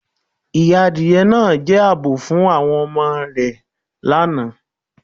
Adié naa ni àábò pupọ̀ fun awọn adié rẹ̀ lánà